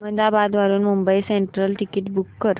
अहमदाबाद वरून Mumbai central ticket book कर